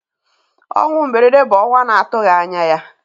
Ọnwụ mberede bụ ọnwụ na-atụghị anya ya.